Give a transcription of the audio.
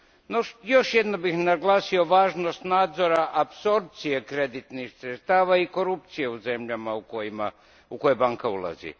No, još jednom bih naglasio važnost nadzora apsorpcije kreditnih sredstava i korupcije u zemljama u koje banka ulazi.